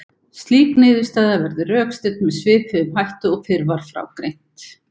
Slík niðurstaða verður rökstudd með svipuðum hætti og fyrr var frá greint.